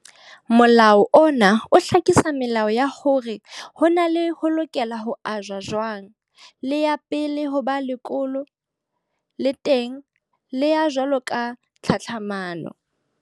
Molao ona o hlakisa melao ya hore na lefa le lokela ho ajwa jwang. Le ya pele ho ba lekolo, le teng le ya jwalo ka tlhatlhamano.